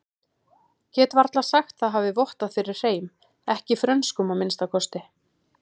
Get varla sagt það hafi vottað fyrir hreim, ekki frönskum að minnsta kosti.